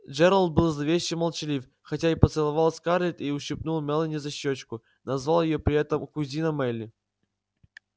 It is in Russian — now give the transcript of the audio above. джералд был зловеще молчалив хотя и поцеловал скарлетт и ущипнул мелани за щёчку назвав её при этом кузина мелли